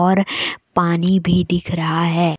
और पानी भी दिख रहा है।